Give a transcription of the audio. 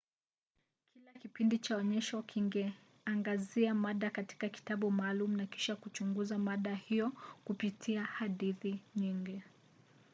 kila kipindi cha onyesho kingeangazia mada katika kitabu maalum na kisha kuchunguza mada hiyo kupitia hadithi nyingi